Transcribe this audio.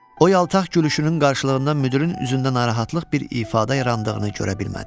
O yaltaq gülüşünün qarşılığında müdirin üzündə narahatlıq bir ifadə yarandığını görə bilmədi.